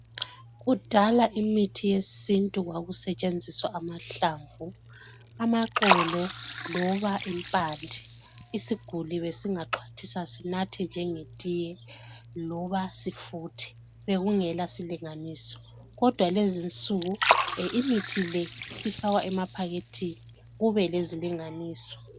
Kudala imithi yesintu kwakusetshenziswa amahlamvu, amaxolo loba impande. Isigulani besingaxhwathisa sinathe njengetiye loba sifuthe, bekungela silinganiso kodwa lezinsuku imithi le isifakwa emaphakethini kube lezilinganiso..